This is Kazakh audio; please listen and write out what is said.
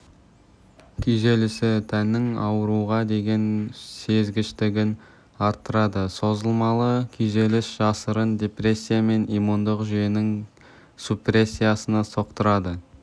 күйзелісі тәннің ауруға деген сезгіштігін арттырады созылмалы күйзеліс жасырын депрессия мен иммундық жүйенің супрессиясына соқтырады